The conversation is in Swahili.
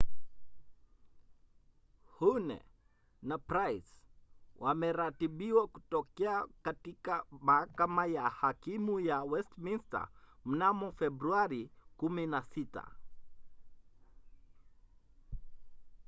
huhne na pryce wameratibiwa kutokea katika mahakama ya hakimu ya westminster mnamo februari 16